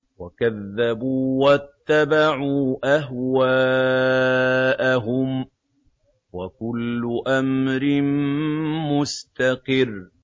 وَكَذَّبُوا وَاتَّبَعُوا أَهْوَاءَهُمْ ۚ وَكُلُّ أَمْرٍ مُّسْتَقِرٌّ